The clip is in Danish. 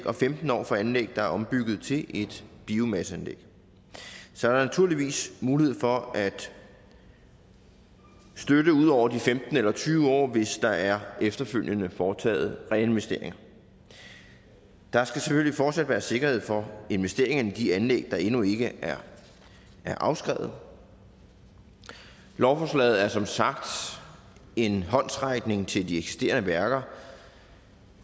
og femten år for anlæg der er ombygget til et biomasseanlæg så er der naturligvis mulighed for at støtte ud over de femten eller tyve år hvis der efterfølgende er foretaget reinvestering der skal selvfølgelig fortsat være sikkerhed for investeringerne i de anlæg der endnu ikke er afskrevet lovforslaget er som sagt en håndsrækning til de eksisterende værker